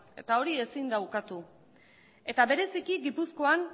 eta hori ezin da ukatu eta bereziki gipuzkoan